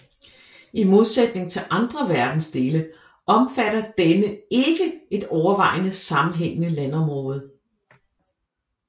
I modsætning til andre verdensdele omfatter denne ikke et overvejende sammenhængende landområde